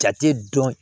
Jate dɔn